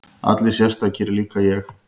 Allir sérstakir, líka ég?